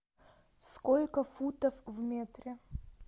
сколько футов в метре